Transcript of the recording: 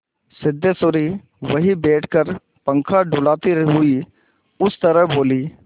सिद्धेश्वरी वहीं बैठकर पंखा डुलाती हुई इस तरह बोली